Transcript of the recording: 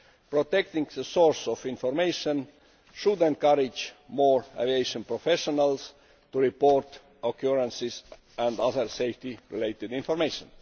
Protecting the source of information should encourage more aviation professionals to report occurrences and other safety related information.